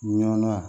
Ɲɔnna